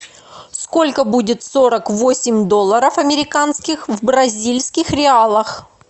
сколько будет сорок восемь долларов американских в бразильских реалах